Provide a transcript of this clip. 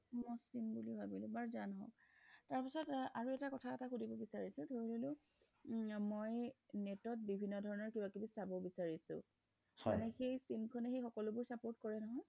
মই sim বুলি ভাবিলোঁ বাৰু যা নহওঁক তাৰ পিছত আৰু এটা কথা এটা সুধিব বিচাৰিছোঁ ধৰি ললো মই net ত বিভিন্ন ধৰণৰ কিবা কিবি চাব বিচাৰিছোঁ হয় সেই sim খনয়ে সকলো বোৰ support কৰে নহয়